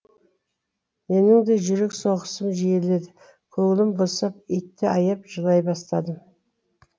менің де жүрек соғысым жиіледі көңілім босап итті аяп жылай бастадым